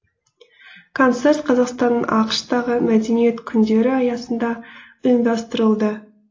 концерт қазақстанның ақш тағы мәдениет күндері аясында ұйымдастырылды